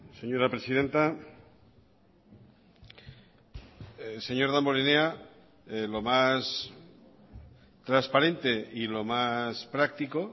señora presidenta señor damborenea lo más transparente y lo más práctico